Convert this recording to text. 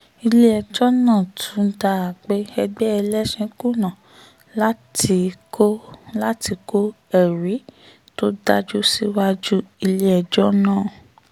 ilé-ẹjọ́ náà tún dá a pé ẹgbẹ́ ẹlẹ́sìn kùnà láti kọ́ láti kọ́ ẹ̀rí tó dájú síwájú ilé-ẹjọ́ náà